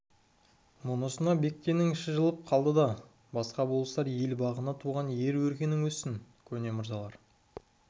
мұнысына бектеннің іші жылып қалды да басқа болыстар ел бағына туған ер өркенің өссін көне мырзалар